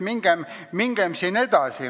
Mingem siit edasi!